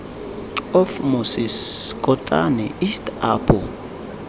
of moses kotane east apo